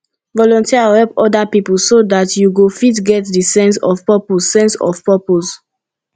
volunteer or help oda pipo so dat you go fit get di sense of purpose sense of purpose